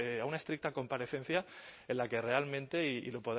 a una estricta comparecencia en la que realmente y